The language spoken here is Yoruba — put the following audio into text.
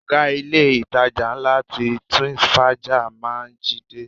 Oga ilé-itàjà ńlá ti Twins Faja máa ń jí dé.